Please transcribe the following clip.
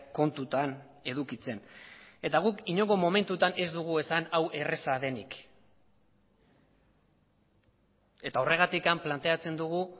kontutan edukitzen eta guk inongo momentutan ez dugu esan hau erraza denik eta horregatikplanteatzen dugu